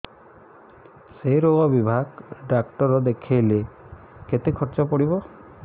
ସେଇ ରୋଗ ବିଭାଗ ଡ଼ାକ୍ତର ଦେଖେଇଲେ କେତେ ଖର୍ଚ୍ଚ ପଡିବ